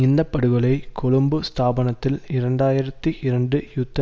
இந்த படுகொலை கொழும்பு ஸ்தாபனத்தில் இரண்டாயிரத்தி இரண்டு யுத்த